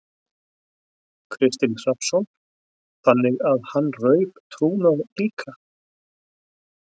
Kristinn Hrafnsson: Þannig að hann rauf trúnað líka?